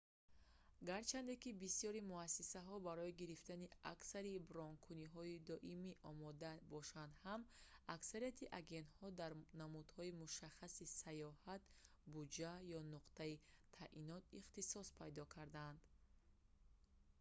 гарчанде ки бисёри муассисаҳо барои гирифтани аксари бронкуниҳои доимӣ омода бошанд ҳам аксарияти агентҳо дар намудҳои мушаххаси саёҳат буҷа ё нуқтаи таъйинот ихтисос пайдо кардаанд